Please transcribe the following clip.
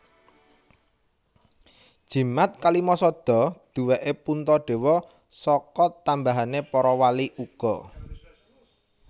Jimat Kalimasada duwèké Puntadewa saka tambahané para wali uga